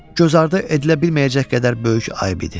Bu, gözardı edilə bilməyəcək qədər böyük ayb idi.